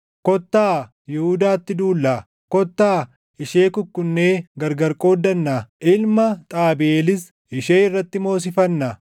“Kottaa Yihuudaatti duullaa; kottaa ishee kukkunnee gargar qooddannaa; ilma Xaabiʼeelis ishee irratti moosifannaa.”